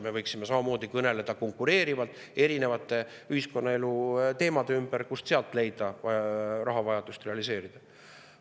Me võiksime samamoodi kõneleda konkureerivalt erinevate ühiskonnaelu teemade ümber, kust leida, kuidas rahavajadust realiseerida.